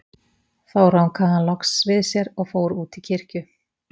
Þá rankaði hann loks við sér og fór út í kirkju.